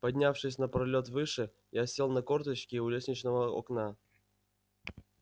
поднявшись на пролёт выше я сел на корточки у лестничного окна